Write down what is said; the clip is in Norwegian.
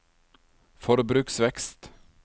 forbruksvekst